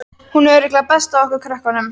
Hún er örugglega best af okkur krökkunum.